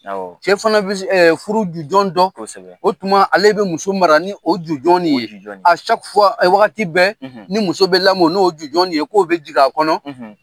Awɔ cɛ fana bɛ s furu jujɔn dɔn, kosɛbɛ o tuma ale be muso mara ni o jujɔn nin ye wagati bɛɛ, ni muso bɛ lamɔ n'o jujɔn nin ye k'o be jig'a kɔnɔ .